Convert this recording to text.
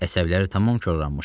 Əsəbləri tamam korlanmışdı.